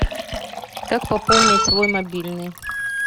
как пополнить свой мобильный